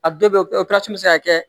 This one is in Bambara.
A dɔw bɛ kɛ bɛ se ka kɛ